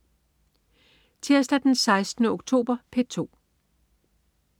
Tirsdag den 16. oktober - P2: